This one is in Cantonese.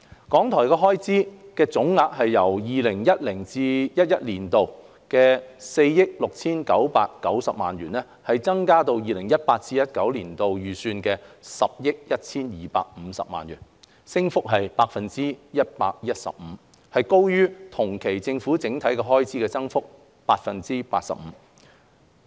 港台的開支總額由 2010-2011 年度的4億 6,990 萬元增加至 2018-2019 年度預算的10億 1,250 萬元，升幅達 115%， 高於同期政府整體的開支增幅的 85%。